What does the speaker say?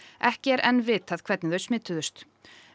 ekki er enn vitað hvernig þau smituðust